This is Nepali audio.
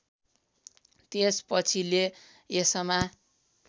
यसपछि ले यसमा